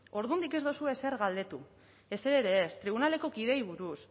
ordundik ez duzue ezer galdetu ezer ere ez tribunaleko kideei buruz